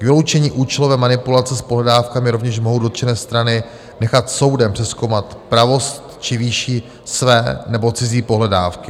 K vyloučení účelové manipulace s pohledávkami rovněž mohou dotčené strany nechat soudem přezkoumat pravost či výši své nebo cizí pohledávky.